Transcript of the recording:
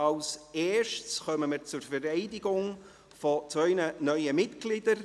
Zuerst kommen wir zur Vereidigung zweier neuer Mitglieder.